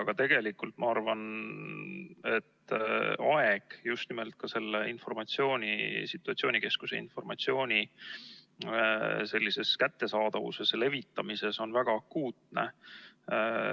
Aga tegelikult ma arvan, et aeg just nimelt selle situatsioonikeskuse informatsiooni kättesaadavuses ja levitamises on väga akuutne.